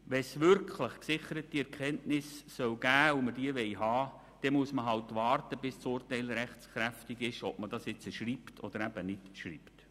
Wenn es wirklich gesicherte Erkenntnisse geben soll, und wir diese haben wollen, müsste man mit dem Entscheid, ob man das nun schreibt oder nicht, abwarten, bis das Urteil rechtskräftig ist.